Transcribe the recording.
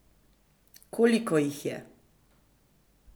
Koliko jih je?